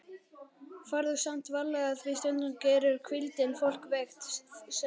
Farðu samt varlega því stundum gerir hvíldin fólk veikt, segir